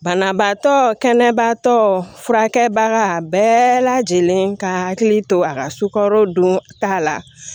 Banabaatɔ kɛnɛbaatɔ furakɛbaga bɛɛ lajɛlen ka hakili to a ka sukaro donta la